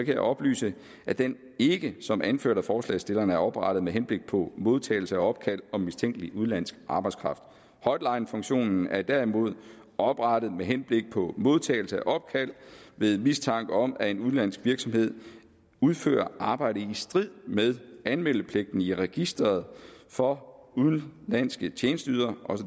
jeg oplyse at den ikke som anført af forslagsstillerne er oprettet med henblik på modtagelse af opkald om mistænkelig udenlandsk arbejdskraft hotlinefunktionen er derimod oprettet med henblik på modtagelse af opkald ved mistanke om at en udenlandsk virksomhed udfører arbejde i strid med anmeldepligten i registreret for udenlandske tjenesteydere